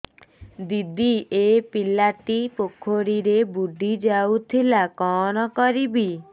ଦିଦି ଏ ପିଲାଟି ପୋଖରୀରେ ବୁଡ଼ି ଯାଉଥିଲା କଣ କରିବି